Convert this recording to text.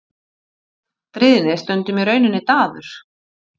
Þannig er stríðni stundum í rauninni daður.